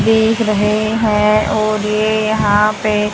देख रहे हैं और ये यहां पे--